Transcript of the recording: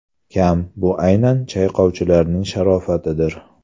kam, bu aynan chayqovchilarning sharofatidir.